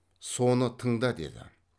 соны тыңда деді